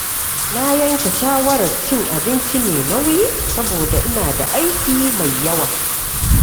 Na yanke shawarar cin abinci mai nauyi saboda ina da aiki mai yawa.